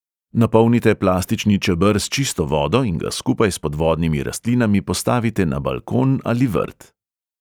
Napolnite plastični čeber s čisto vodo in ga skupaj s podvodnimi rastlinami postavite na balkon ali vrt.